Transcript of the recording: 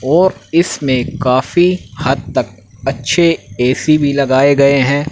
और इसमें कफी हद तक अच्छे ए_सी भी लगाए गए हैं।